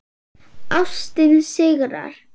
Ástin sigrar